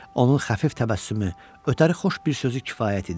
Onun xəfif təbəssümü, ötəri xoş bir sözü kifayət idi.